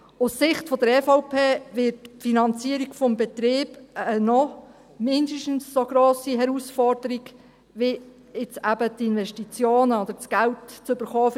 Aus Sicht der EVP wird die Finanzierung des Betriebs eine noch mindestens so grosse Herausforderung werden wie jetzt eben die Investitionen oder das Geld dafür zu bekommen;